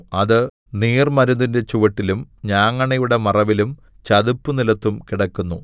അത് നീർമരുതിന്റെ ചുവട്ടിലും ഞാങ്ങണയുടെ മറവിലും ചതുപ്പുനിലത്തും കിടക്കുന്നു